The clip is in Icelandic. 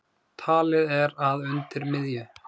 Talið er að undir miðju